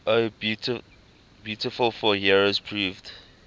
o beautiful for heroes proved